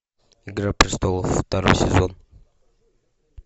игра престолов второй сезон